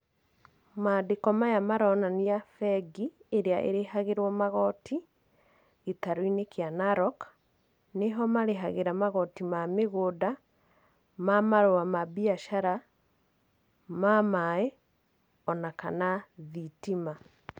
Maandĩko maya maronania bengi ĩrĩa ĩrĩhagĩrwo magoti, gĩtarũ-inĩ kĩa Narok. Nĩ ho marĩhagĩra magoti ma mĩgũnda, ma marũa ma mbiacara, ma maaĩ, ona kana thitima.